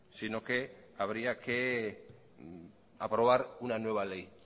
sino que habría que aprobar una nueva ley